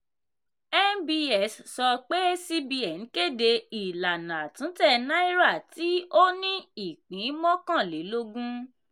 nbs sọ pé cbn kéde ìlànà àtúntẹ̀ náírà tí o ní ipín mọ́kànlélógún.